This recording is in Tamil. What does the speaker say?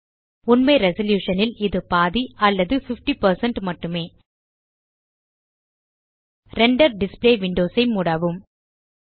உண்மை ரெசல்யூஷன் ல் இது பாதி அல்லது 50 மட்டுமே ரெண்டர் டிஸ்ப்ளே விண்டோஸ் ஐ மூடவும்